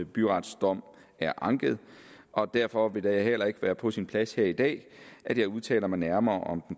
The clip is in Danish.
byrets dom er anket og derfor vil det heller ikke være på sin plads her i dag at jeg udtaler mig nærmere om